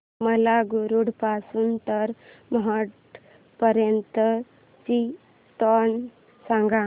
मला मुरुड पासून तर महाड पर्यंत ची ट्रेन सांगा